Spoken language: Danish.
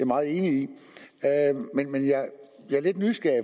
meget enig i men jeg er lidt nysgerrig